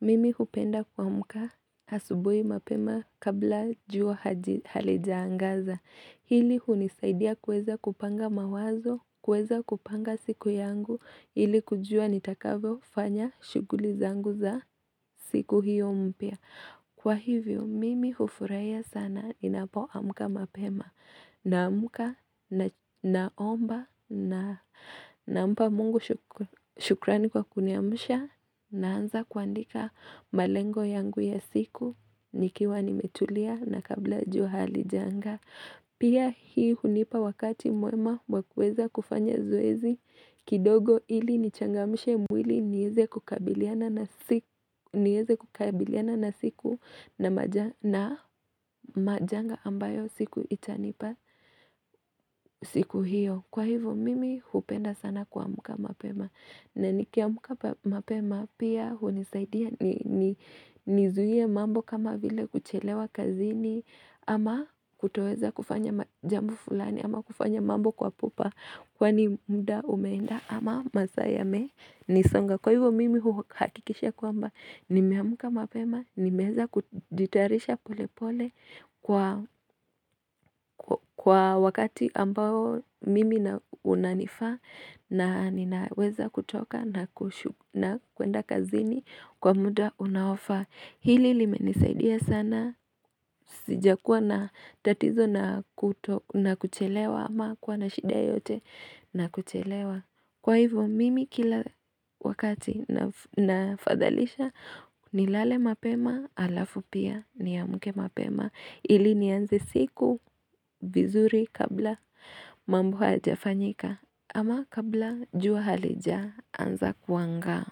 Mimi hupenda kuamka asubuhi mapema kabla jua halijaangaza. Hili hunisaidia kuweza kupanga mawazo, kuweza kupanga siku yangu, ili kujua nitakavyo fanya shughuli zangu za siku hiyo mpya. Kwa hivyo mimi hufurahia sana inapoamka mapema naamka na omba nampa mungu shukrani kwa kuniamsha naanza kuandika malengo yangu ya siku nikiwa nimetulia na kabla jua halijaanga. Pia hii hunipa wakati mwema wakueza kufanya zoezi kidogo ili nichangamishe mwili nieze kukabiliana na siku na majanga ambayo siku itanipa siku hiyo. Kwa hivyo mimi hupenda sana kuamka mapema na nikiamulka mapema pia hunisaidia nizuie mambo kama vile kuchelewa kazini ama kutoweza kufanya jambo fulani ama kufanya mambo kwa pupa kwani muda umeenda ama masaa yamenisonga. Kwa hivo mimi uhakikisha kwamba nimeamka mapema, nimeweza kujitarisha pole pole kwa wakati ambao mimi na unanifaa na ninaweza kutoka na kwenda kazini kwa muda unaofaa. Hili limenisaidia sana, sijakuwa na tatizo na kuchelewa ama kuwa na shida yoyote na kuchelewa. Kwa hivo mimi kila wakati nafadhalisha nilale mapema alafu pia niamke mapema ili nianze siku vizuri kabla mambo hayajafanyika ama kabla jua halijaanza kuangaa.